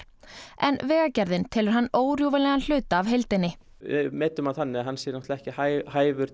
en Vegagerðin telur hann órjúfanlegan hluta af heildinni við metum hann þannig að hann sé ekki hæfur